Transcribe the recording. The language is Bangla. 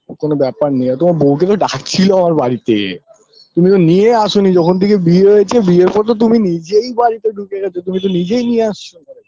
কোনো ব্যাপার নেই তোমার বউদি তো আকে ডাকছিল আমার বাড়িতে তুমিও নিয়ে আসুনি যখন থেকে বিয়ে হয়েছে বিয়ের পর তো তুমি নিজেই বাড়িতে ঢুকে গেছো তুমি তো নিজেই নিয়াস